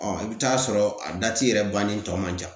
Ɔ i bɛ taa sɔrɔ a yɛrɛ bannen tɔ man ca